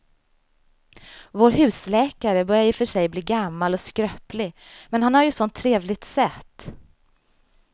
Vår husläkare börjar i och för sig bli gammal och skröplig, men han har ju ett sådant trevligt sätt!